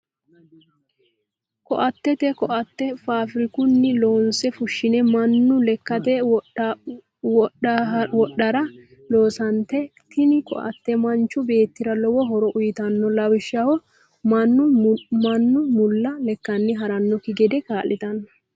Koatete, koate faabirikunni loonse fushine manu lekkate wofhara loonsonite, tini koate manchu beetira lowo horo uuyitanno lawishaho manu mula lekkani haranokki gede kaa'litano